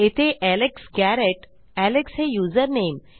येथे Alex Garrett Alex हे username